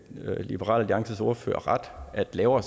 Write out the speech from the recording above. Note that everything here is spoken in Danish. liberal alliances ordfører at lavere